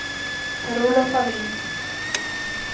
Per-Olof Wallin